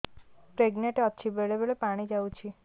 pregnant ଅଛି ବେଳେ ବେଳେ ପାଣି ଯାଉଛି